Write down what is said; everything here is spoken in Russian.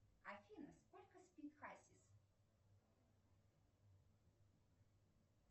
афина сколько спит хасис